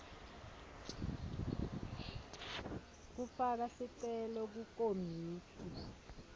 kufaka sicelo kukomiti